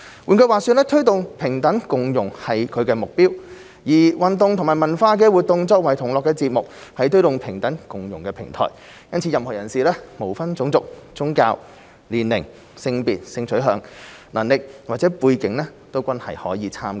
換句話說，推動平等共融是其目標，而運動及文化活動作為同樂節目，是推動平等共融的平台，因此任何人士，無分種族、宗教、年齡、性別、性取向、能力或背景均可以參加。